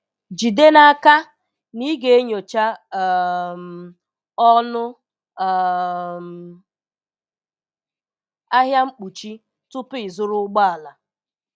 Jide n'aka na ị ga-enyocha um ọnụ um ahịa mkpuchi tupu ịzụrụ ụgbọ ala.